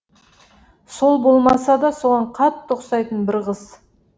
сол болмаса да соған қатты ұқсайтын бір қыз